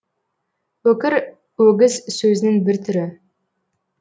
өкір өгіз сөзінің бір түрі